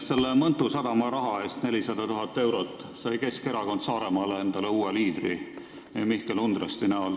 Selle Mõntu sadama raha eest, 400 000 eurot, sai Keskerakond Saaremaal endale uue liidri Mihkel Undresti näol.